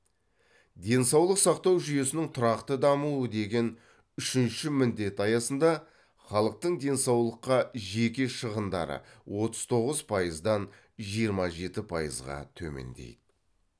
денсаулық сақтау жүйесінің тұрақты дамуы деген үшінші міндет аясында халықтың денсаулыққа жеке шығындары отыз тоғыз пайыздан жиырма жеті пайызға төмендейді